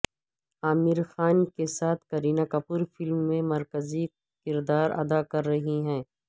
عامر خان کے ساتھ کرینہ کپور فلم میں مرکزی کردار ادا کررہی ہیں